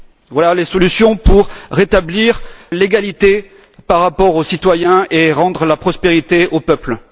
Voilà les solutions pour rétablir l'égalité par rapport aux citoyens et rendre la prospérité aux peuples.